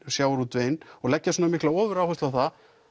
sjávarútveginn og leggja svona mikla ofuráherslu á það